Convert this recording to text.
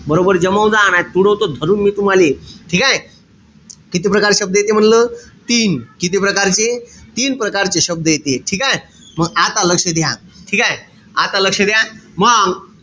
बरोबर जमवजा नाई त उडवतो धरून मी तुम्हाले. ठीकेय? किती प्रकारचे शब्द येते म्हणलं? तीन. किती प्रकारचे? तीन प्रकारचे शब्द येते. ठीकेय? मंग आता लक्ष द्या. ठीकेय? आता लक्ष द्या. मंग,